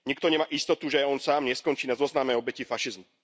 Nikto nemá istotu, že aj on sám neskončí na zozname obetí fašizmu.